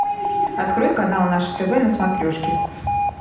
открой канал наше тв на смотрешке